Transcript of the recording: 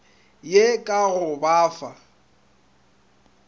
ye ka go ba fa